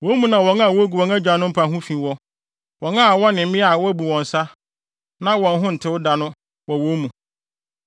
Wo mu na wɔn a wogu wɔn agyanom mpa ho fi wɔ; wɔn a wɔne mmea a wɔabu wɔn nsa, na wɔn ho ntew da no wɔ wo mu.